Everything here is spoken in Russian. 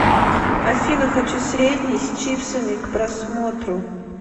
афина хочу средний с чипсами к просмотру